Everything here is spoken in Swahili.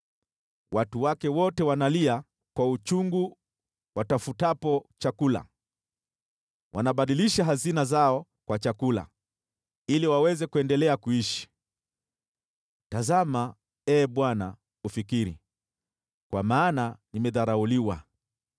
Watu wake wote wanalia kwa uchungu watafutapo chakula; wanabadilisha hazina zao kwa chakula ili waweze kuendelea kuishi. “Tazama, Ee Bwana , ufikiri, kwa maana nimedharauliwa.”